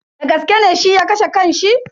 Dagaske ne shi ya kashe kan shi?